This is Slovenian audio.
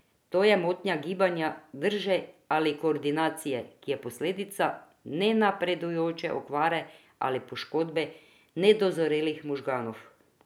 To je motnja gibanja, drže ali koordinacije, ki je posledica nenapredujoče okvare ali poškodbe nedozorelih možganov.